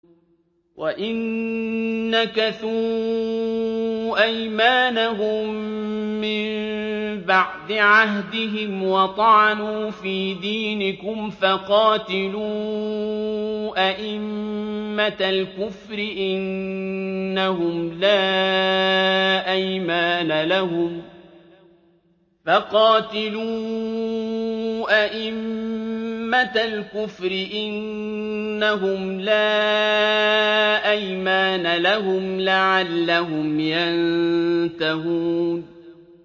وَإِن نَّكَثُوا أَيْمَانَهُم مِّن بَعْدِ عَهْدِهِمْ وَطَعَنُوا فِي دِينِكُمْ فَقَاتِلُوا أَئِمَّةَ الْكُفْرِ ۙ إِنَّهُمْ لَا أَيْمَانَ لَهُمْ لَعَلَّهُمْ يَنتَهُونَ